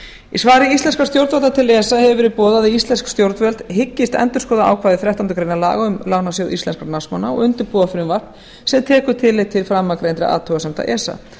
í svari íslenskra stjórnvalda til esa hefur verið boðað að íslensk stjórnvöld hyggist endurskoða ákvæði þrettándu grein laga um lánasjóð íslenskra námsmanna og undirbúa frumvarp sem tekur tillit til framangreinda athugasemda esa